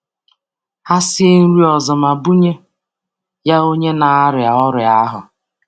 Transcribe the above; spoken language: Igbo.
Ha sie nri ọzọ ma bunye ya onye na-arịa ọrịa ahụ.